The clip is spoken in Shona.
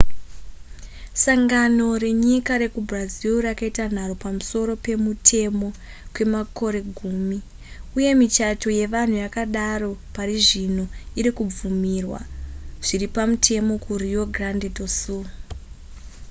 sangano renyika rekubrazil rakaita nharo pamusoro pemutemo kwemakore gumi uye michato yevanhu yakadaro parizvino irikubvumirwa zviripamutemo ku rio grande do sul